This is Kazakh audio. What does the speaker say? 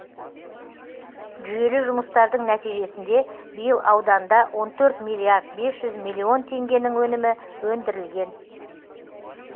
жүйелі жұмыстардың нәтижесінде биыл ауданда он төрт миллиард бес жүз миллион теңгенің өнімі өндірілген